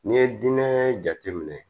N'i ye dinɛ jateminɛ